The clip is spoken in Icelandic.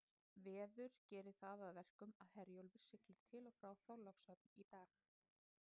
Veður gerir það að verkum að Herjólfur siglir til og frá Þorlákshöfn í dag.